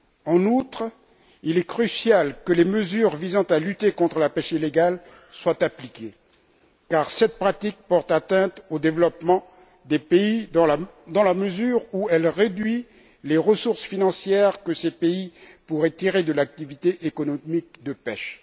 En outre, il est crucial que les mesures visant à lutter contre la pêche illégale soient appliquées, car cette pratique porte atteinte au développement des pays dans la mesure où elle réduit les ressources financières que ces pays pourraient tirer de l'activité économique de pêche.